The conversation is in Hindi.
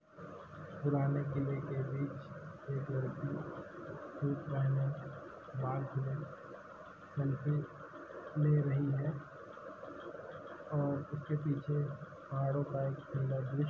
पुराने किले के बीच एक लड़की पहने बाल खुले सेल्फी ले रही है और उसके पीछे पहाड़ो का एक --